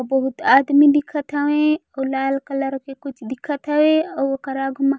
आऊ बहुत आदमी दिखत हवे आऊ लाल कलर के कुछ दिखत हवे आऊ ओकर आगू मा--